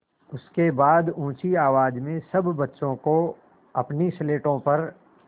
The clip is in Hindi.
उसके बाद ऊँची आवाज़ में सब बच्चों को अपनी स्लेटों पर